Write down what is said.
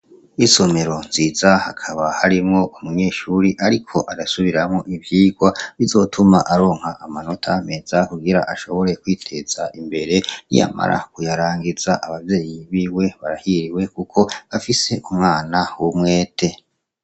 Isomero nziza hakaba harimwo umunyeshure ariko arasubiramwo ivyigwa, bizotuma aronka amanota meza kugira ashobore kwiteza imbere, niyamara kuyarangiza. Abavyeyi biwe barahiriwe kuko bafise umwana w'umwete.